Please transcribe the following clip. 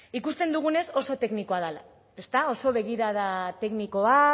ikusten dugunez oso teknikoa dela ezta oso begirada teknikoa